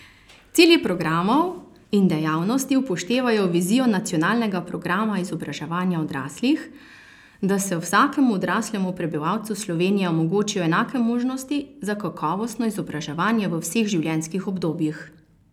Cilji programov in dejavnosti upoštevajo vizijo nacionalnega programa izobraževanja odraslih, da se vsakemu odraslemu prebivalcu Slovenije omogočijo enake možnosti za kakovostno izobraževanje v vseh življenjskih obdobjih.